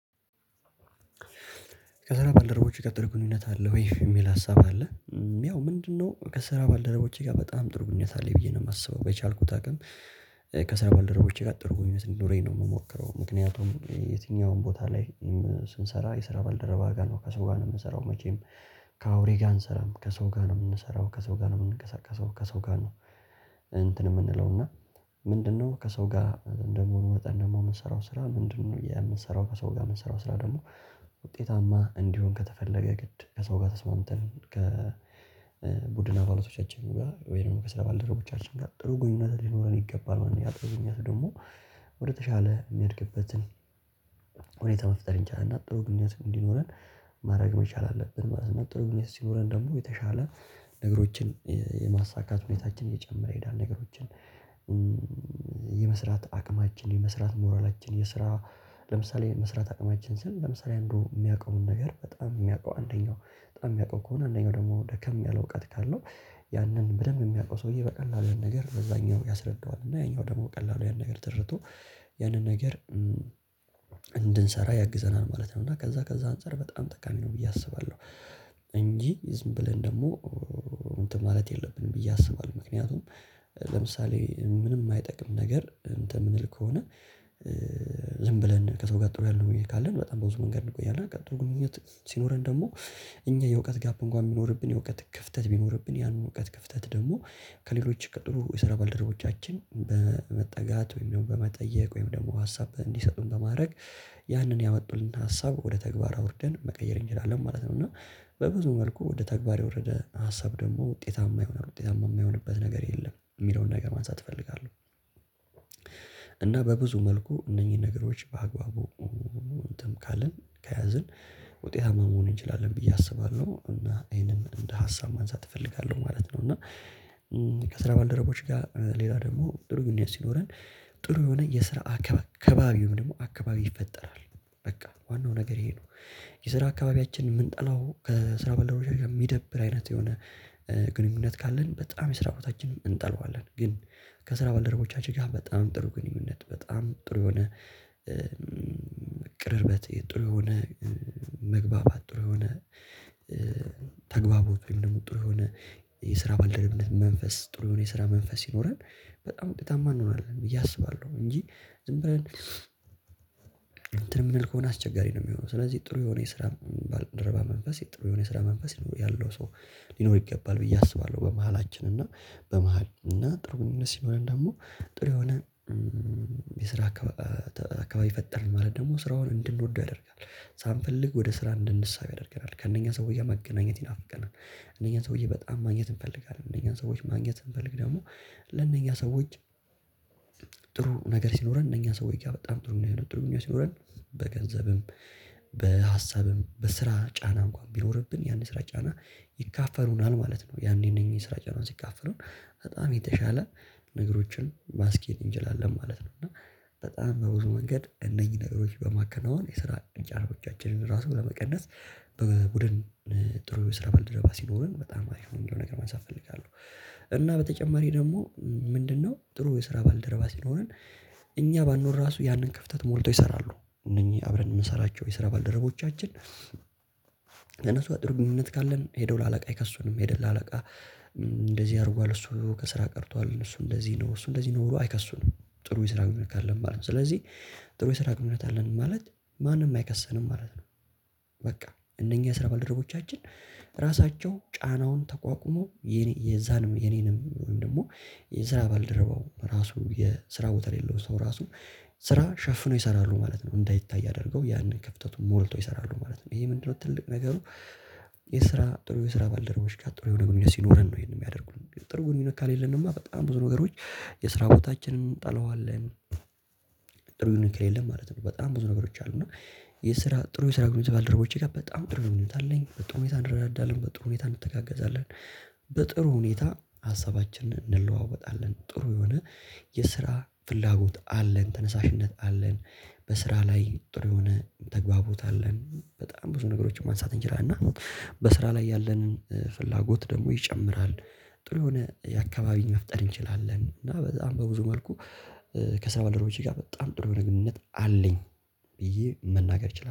ከዛ በኋላ ደረቦች የቀጠረ ግንኙነት አለ ወይ? የሚል ሀሳብ አለ። ያው ምንድነው ከስራ ባልደረቦቼ ጋር በጣም ጥሩ ግንኙነት አለኝ ብዬ ነው የማስበው በቻልኩት አቅም። ከስራ ባለደረቦቼ ጋር ጥሩ ግንኙነት ነው የምኖረው ምክንያቱም የትኛውም ቦታ ላይ። ስንሰራ የስራ ባልደረባ ጋር ነው ከሰው ጋር ነው የምንሰራው መቼም። ከአውሬ ጋር አንሰራም ከሰው ጋር ነው የምንሰራው ከሰው ጋር ነው የምንቀሳቀሰው ከሰው ጋር ነው። እንትን የምንለው እና። ምንድነው ከሰው ጋር እንደምሆን ወጣን ደግሞ የምንሰራው ስራ ምንድነው የምንሰራው ከሰው ጋር የምንሰራው ስራ ደግሞ። ውጤታማ እንዲሆን ከተፈለገ ግድ ከሰው ጋር ተስማምተን ከ ቡድን አባሎቶቻችን ጋር ወይንም ከስራ ባልደረቦቻችን ጋር ጥሩ ግንኙነት ሊኖረን ይገባል ማለት ነው። ያጠናኘኛት ደግሞ ወደተሻለ የሚያድግበትን ሁኔታ መፍጠር እንችላለን ጥሩ ግኝት እንዲኖረን። ማድረግ መቻል አለብን ማለት ነው። ጥሩ ሲኖረን ደግሞ የተሻለ ነገሮችን የማሳካት ሁኔታችን እየጨመረ የዳር ነገሮችን። የመስራት አቅማችን የመስራት ሞራላችን የስራ ለምሳሌ መስራት አቅማችን ስል ለምሳሌ እንደው የሚያውቀውን ነገር በጣም የሚያውቀው አንደኛው በጣም የሚያውቀው ከሆነ አንደኛው ደግሞ ደከም ያለ እውቀት ካለው። ያንን በደንብ የሚያውቀው ሰውዬ በቀላሉ ነገር በዛኛው ያስረዳዋል እና ያኛው ደግሞ ቀላሉ ያን ነገር ተረድቶ ያንን ነገር እንድንሰራ ያግዘናል ማለት ነው። እና ከዛ ከዛ አንፃር በጣም ጠቃሚ ነው ብዬ አስባለሁ። እንጂ ዝም ብለን ደግሞ እንትን ማለት የለብንም ብዬ አስባለሁ። ምክንያቱም ለምሳሌ ምንም አይጠቅም ነገር እንትን የምንል ከሆነ። ዝም ብለን ከሰው ጋር ጥሩ ያለው ብዬ ካለን በጣም በብዙ መንገድ እንቆያለን። ቀጥሎ ግንኙነት ሲኖረን ደግሞ እኛ የእውቀት ጋፕ እንኳን የሚኖርብን የእውቀት ክፍተት ቢኖርብን ያንን እውቀት ክፍተት ደግሞ። ከሌሎች ቀጥሎ የሰራ ባልደረቦቻችን በመጠጋት ወይም በመጠየቅ ወይም ደግሞ ሀሳብ እንዲሰጡን በማድረግ ያንን የመጣልን ሀሳብ ወደ ተግባር አውርደን መቀየር እንጀራለን ማለት ነው። እና በብዙ መልኩ ወደ ተግባር የወረደ ሀሳብ ደግሞ ውጤታማ ይሆናል ውጤታማ የማይሆንበት ነገር የለም የሚለውን ነገር ማንሳት እፈልጋለሁ። እና በብዙ መልኩ እነኚህ ነገሮች በአግባቡ እንትን ካልን ከያዝን ውጤታማ መሆን እንችላለን ብዬ አስባለሁ። እና ይህንንም እንደ ሀሳብ ማንሳት እፈልጋለሁ ማለት ነው። እና ከስራ ባልደረቦች ጋር ሌላ ደግሞ ጥሩ ግንኙነት ሲኖረን ጥሩ የሆነ የስራ አካባቢውም ደግሞ አካባቢ ይፈጠራል። በቃ ዋናው ነገር ይሄ ነው። የስራ አካባቢያችን የምንጠላው ከስራ ባልደረቦቻችን ጋር የሚደብር አይነት የሆነ ግንኙነት ካለን በጣም የስራ ቦታ እንጠልዋለን። ግን። ከስራ ባልደረቦቻችን ጋር በጣም ጥሩ ግንኙነት በጣም ጥሩ የሆነ ቅርርበት የጥሩ የሆነ መግባባት ጥሩ የሆነ ተግባቦች ወይም ደግሞ ጥሩ የሆነ የስራ ባልደረብነት መንፈስ ጥሩ የስራ መንፈስ ይኖረን። በጣም እውነት እንሆናለን ብዬ አስባለሁ። እንጂ ዝም ብለን እንትን የምንል ከሆነ አስቸጋሪ ነው የሚሆነው። ስለዚህ ጥሩ የሆነ የስራ ደረባ መንፈስ ጥሩ የሆነ የስራ መንፈስ ያለው ሰው ሊኖር ይገባል ብዬ አስባለሁ። በመሃላችን እና በመሃል እና ጥሩ ግንኙነት ሲሆን ደግሞ ጥሩ የሆነ የስራ አካባቢ ፈጠርን ማለት ደግሞ ስራውን እንድንወደው ያደርጋል። ሳንፈልግ ወደ ስራ እንድንሳብ ያደርገናል ከእነኛ ሰውዬ መገናኘት ይናፍቀናል። እነኛ ሰውዬ በጣም ማግኘት እንፈልጋለን እነኛን ሰዎች ማግኘት እንፈልግ ደግሞ። ለነኛ ሰዎች ጥሩ ነገር ሲኖረን እነኛ ሰዎች ጋር በጣም ጥሩ ነው የሚለው ጥሩ ነው ሲኖረን። በገንዘብም በሀሳብም በስራ ጫና እንኳን ቢኖርብን ያንን ስራ ጫና ይካፈሩናል ማለት ነው። ያኔ እነኚህን ስራ ጫናን ሲካፈሉን በጣም የተሻለ ነገሮችን ማስኬድ እንችላለን ማለት ነው። እና በጣም በብዙ መንገድ እነኚህ ነገሮች በማከናወን የስራ እንጨቶቻችንን ራሱን ለመቀነስ በቡድን ጥሩ ስራ በልደባ ሲኖረን በጣም አሪፍ ነው ነገር ማንሳት እፈልጋለሁ። እና በተጨማሪ ደግሞ ምንድነው? ጥሩ የስራ ባልደረባ ሲኖረን እኛ ባንኖር ራሱ ያንን ክፍተት ሞልቶ ይሰራሉ። እነኚህ አብረን የምንሰራቸው የሰራ ባልደረቦቻችን። ለነሱ አጥር ግንኙነት ካለን ሄደው ለአለቃ አይከሱንም ሄደው ለአለቃ እንደዚህ አድርጓል እሱ ከስራ ቀርቷል እሱ እንደዚህ ነው እሱ እንደዚህ ነው አይከሱም። ጥሩ የስራ ግንኙነት አለን ማለት ነው። ስለዚህ ጥሩ የስራ ግንኙነት አለን ማለት ማንም አይከሰንም ማለት ነው። በቃ እነኚህ ስራ ባልደረቦቻችን ራሳቸው ጫናውን ተቋቁሞ የዛንም የኔንም ወይም ደግሞ የስራ ባልደረበው ራሱ የስራው የሌለው ሰው ራሱ ስራ ሸፍነው ይሰራሉ ማለት ነው እንዳይታይ ያደርገው ያንን ከፍተቱን ሞልቶ ይሰራሉ ማለት ነው። ይሄ ምንድነው ትልቅ ነገሩ። የስራ ጥሩ የስራ ባልደረቦች ጋር ጥሩ የሆነ ሲኖረን ነው ይሄንን የሚያደርጉን ጥር ግንኙነት ካልሄደንማ በጣም ብዙ ነገሮች የስራ ቦታችንን እጠለዋለን። ጥሩ ነገር ከሌለ ማለት ነው። በጣም ብዙ ነገሮች አሉ እና። የስራ ጥሩ የስራ ግንኙነት ባልደረቦቼ ጋር በጣም ጥሩ ልምምድ አለኝ በጣም ሁኔታ እንረዳዳለን በጥሩ ሁኔታ እንተጋገዛለን። በጥሩ ሁኔታ ሀሳባችንን እንለዋወጣለን ጥሩ የሆነ የስራ ፍላጎት አለን ተነሳሽነት አለን። በስራ ላይ ጥሩ የሆነ ተግባቦት አለን በጣም ብዙ ነገሮችን ማንሳት እንችላለን። እና በስራ ላይ ያለንን ፍላጎት ደግሞ ይጨምራል። ጥሩ የሆነ የአካባቢን መፍጠር እንችላለን እና በጣም በብዙ መልኩ ከስራ ባልደርቦቼ ጋር በጣም ጥሩ የሆነ ግንኙነት አለኝ። ብዬ መናገር እችላለሁ